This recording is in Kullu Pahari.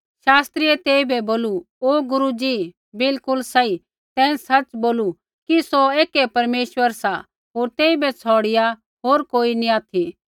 शास्त्रियै तेइबै बोलू ओ गुरू जी बिलकुल सही तैं सच़ बोलू कि सौ ऐकै परमेश्वर सा होर तेइबै छ़ौड़िआ होर कोई नैंई